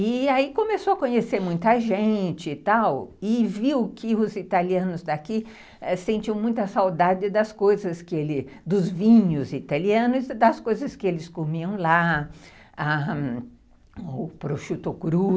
E aí começou a conhecer muita gente e tal, e viu que os italianos daqui sentiam muita saudade das coisas que ele, dos vinhos italianos, das coisas que eles comiam lá, o prosciutto crudo,